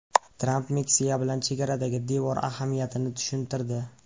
Tramp Meksika bilan chegaradagi devor ahamiyatini tushuntirdi.